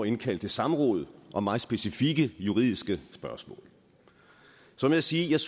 indkalde til samråd om meget specifikke juridiske spørgsmål så må jeg sige at jeg